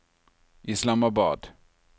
Islamabad